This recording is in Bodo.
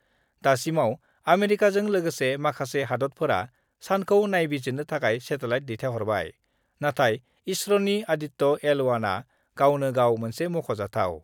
दासिमाव आमेरिकाजों लोगोसे माखासे हादतफोरा सानखौ नायबिजिरनो थाखाय सेटेलाइट दैथाइहरबाय, नाथाय इसर'नि आदित्य एल 1 आ गावनो गाव मोनसे मख'जाथाव।